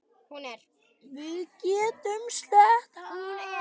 Við getum selt hann.